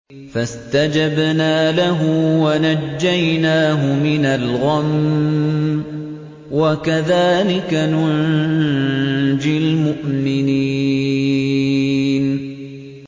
فَاسْتَجَبْنَا لَهُ وَنَجَّيْنَاهُ مِنَ الْغَمِّ ۚ وَكَذَٰلِكَ نُنجِي الْمُؤْمِنِينَ